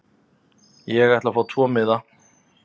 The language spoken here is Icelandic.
Ég ætla að fá tvo miða.